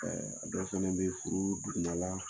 dɔ fana bɛ furu duguma la